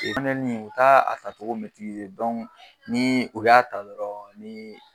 u ta a ta cogo ni u y'a ta dɔrɔn ni